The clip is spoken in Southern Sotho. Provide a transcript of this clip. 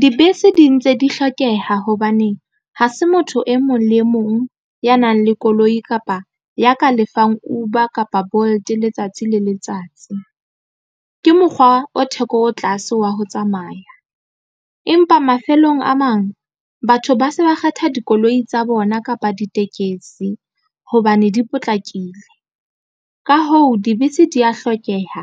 Dibese di ntse di hlokeha hobaneng ha se motho e mong le mong ya nang le koloi kapa ya ka lefang Uber kapa Bolt letsatsi le letsatsi ke mokgwa o theko e tlase wa ho tsamaya. Empa mafelong a mang batho ba se ba kgetha dikoloi tsa bona kapa ditekesi hobane di potlakile. Ka hoo dibese di ya hlokeha